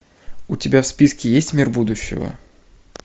у тебя в списке есть мир будущего